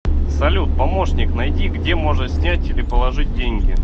салют помощник найди где можно снять или положить деньги